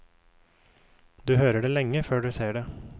Du hører det lenge før du ser det.